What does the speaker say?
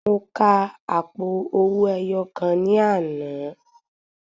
Mo ka àpò owó ẹyọ kan ní àná.